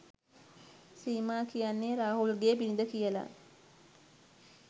සීමා කියන්නේ රාහුල්ගේ බිරිඳ කියලා